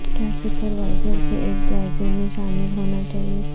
کیا سپروائزر کے ایک جائزے میں شامل ہونا چاہئے